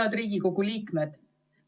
Head Riigikogu liikmed!